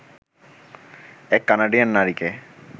এক কানাডিয়ান নারীকে